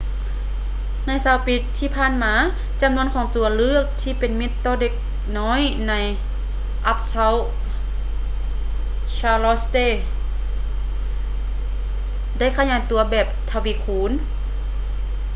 ໃນ 20 ປີທີ່ຜ່ານມາ ຈຳນວນຂອງຕົວເລືອກທີ່ເປັນມິດຕໍ່ເດັກນ້ອຍໃນ uptown charlotte ໄດ້ຂະຫຍາຍຕົວແບບທະວີຄູນ